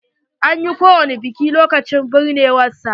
An yi ko wani biki lokacin binnewar sa?